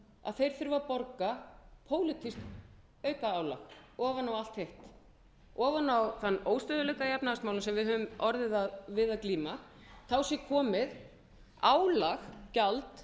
að þeir þurfi að borga pólitískt aukaálag ofan á allt hitt ofan á þann óstöðugleika í efnahagsmálum sem við höfum orðið við að glíma þá sé komið álag gjald